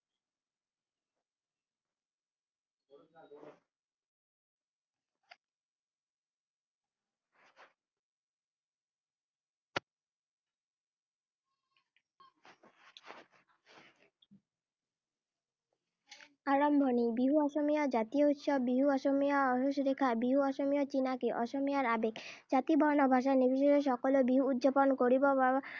আৰম্ভণি। বিহু অসমীয়াৰ জাতীয় উৎসৱ। বিহু অসমীয়াৰ আয়ুসৰেখা। বিহু অসমীয়াৰ চিনাকি, অসমীয়াৰ আৱেগ। জাতি বৰ্ণ ভাষা নিৰ্বিশেষে সকলোৱে বিহু উদযাপন কৰিব বাবে